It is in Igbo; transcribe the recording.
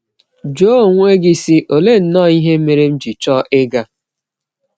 Jụọ onwe gị, sị: ‘ Ọlee nnọọ ihe mere m ji chọọ ịga ?'.